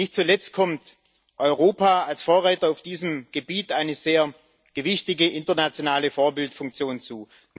Nicht zuletzt kommt Europa als Vorreiter auf diesem Gebiet eine sehr gewichtige internationale Vorbildfunktion zu.